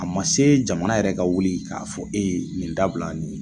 A ma se jamana yɛrɛ ka wuli k'a fɔ e ye nin dabila nin ye.